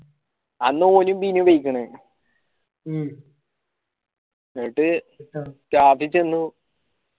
അന്ന് ഓന് ബിനു പോയിക്കിണ് എന്നിട്ട് class ഇൽ ചെന്നു